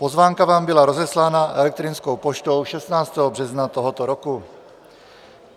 Pozvánka vám byla rozeslána elektronickou poštou 16. března tohoto roku.